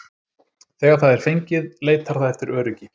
Þegar það er fengið leitar það eftir öryggi.